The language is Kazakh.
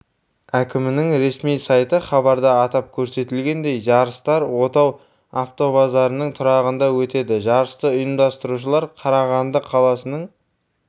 әкімінің ресми сайты хабарда атап көрсетілгендей жарыстар отау автобазарының тұрағында өтеді жарысты ұйымдастырушылар қарағанды қаласының